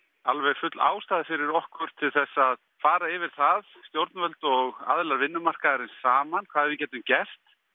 alveg full ástæða fyrir okkur til þess að fara yfir það stjórnvöld og aðilar vinnumarkaðarins saman hvað við getum gert